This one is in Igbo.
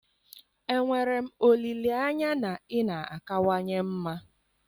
Enwere m olileanya na ị na-akawanye mma?